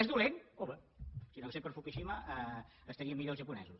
és dolent home si no hagués sigut per fukushima estarien millor els japonesos